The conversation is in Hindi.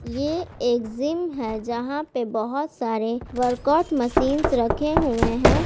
ये एक जिम है जहां पे बहोत सारे वर्कआउट मशीन्स रखे हुए हैं ।